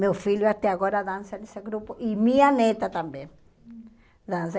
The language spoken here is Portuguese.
Meu filho até agora dança nesse grupo e minha neta também dança.